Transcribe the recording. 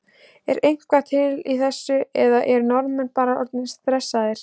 Er eitthvað til í þessu eða eru Norðmenn bara orðnir stressaðir?